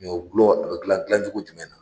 Ɲɔgulɔ a bɛ dilan dilancogo jumɛn na ?